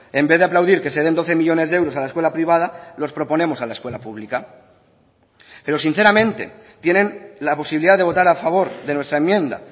en vez de aplaudir que se den doce millónes de euros a la escuela privada los proponemos a la escuela pública pero sinceramente tienen la posibilidad de votar a favor de nuestra enmienda